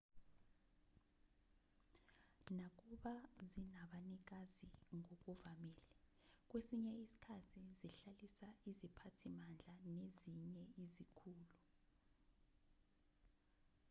nakuba zinabanikazi ngokuvamile kwesinye isikhathi zihlalisa iziphathimandla nezinye izikhulu